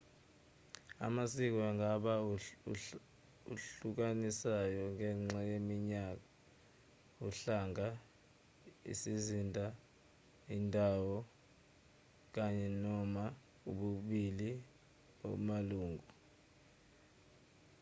amasiko angaba ahlukanisayo ngenxa yeminyaka uhlanga isizinda indawo kanye/noma ubulili bamalungu